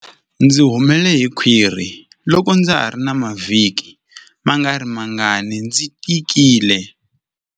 Ndzi humele hi khwiri loko ndza ha ri na mavhiki mangarimangani ndzi tikile.